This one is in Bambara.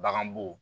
Bagan bo